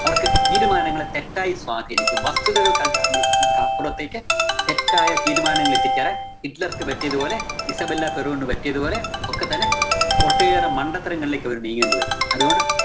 അവര്‍ക്ക് തീരുമാനങ്ങളെ തെറ്റായി സ്വാധീനിക്കും. വസ്തുതകള്‍ക്കടി~ക്കടി അപ്പുറത്തേക്ക് തെറ്റായ തീരുമാനങ്ങളിലെത്തിച്ചേരാന്‍ ഹിറ്റ്ലര്‍ക്ക് പറ്റിയതു പോലെ, ഇസബെല്ല ഫെരോണിന് പറ്റിയതുപോലെ ഒക്കെതന്നെ ഒട്ടേറെ മണ്ടത്തരങ്ങളിലേക്ക് അവര്‍ നീങ്ങേണ്ടി വരും. അതുകൊണ്ട്